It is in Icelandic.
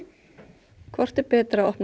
hvort er betra að opna